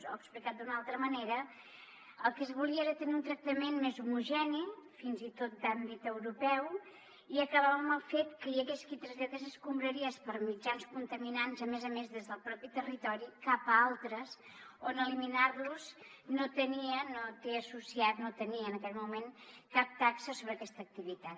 o explicat d’una altra manera el que es volia era tenir un tractament més homogeni fins i tot d’àmbit europeu i acabar amb el fet que hi hagués qui traslladés escombraries per mitjans contaminants a més a més des del mateix territori cap a altres on eliminar los no té associat no tenia en aquell moment cap taxa sobre aquesta activitat